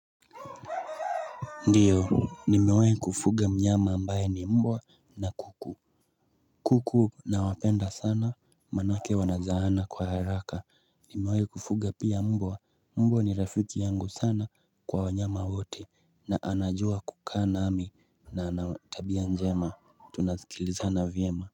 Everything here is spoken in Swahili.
Ndiyo, nimewa kufuga mnyama ambaye ni mbwa na kuku kuku nawapenda sana maanake wanazaana kwa haraka Nimewai kufuga pia mbwa, mbwa ni rafiki yangu sana kwa wanyama wote na anajua kukaa nami na anatabia njema, tunasikilizana vyema.